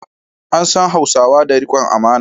An san Hausawa da rikon amana.